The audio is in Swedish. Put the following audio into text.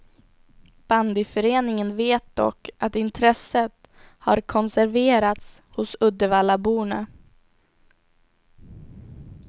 Bandyföreningen vet dock att intresset har konserverats hos uddevallaborna.